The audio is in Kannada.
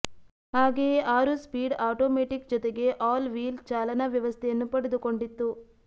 ಹಾಗೆಯೇ ಆರು ಸ್ಪೀಡ್ ಆಟೋಮ್ಯಾಟಿಕ್ ಜೊತೆಗೆ ಆಲ್ ವೀಲ್ ಚಾಲನಾ ವ್ಯವಸ್ಥೆಯನ್ನು ಪಡೆದುಕೊಂಡಿತ್ತು